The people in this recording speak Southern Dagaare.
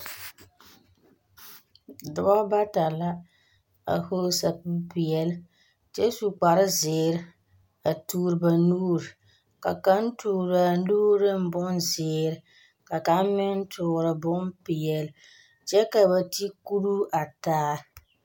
Dͻbͻ bata la, a vͻgele sapigi peԑle kyԑ su kpare zeere, a toore ba nuuri. Ka kaŋa toore a nuuri neŋ bonzeere ka kaŋa meŋ toore bompeԑle kyԑ ka ba te kuruu a taa.